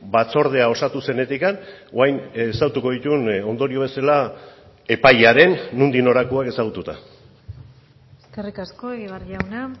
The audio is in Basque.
batzordea osatu zenetik orain ezagutuko dituen ondorio bezala epailaren nondik norakoak ezagututa eskerrik asko egibar jauna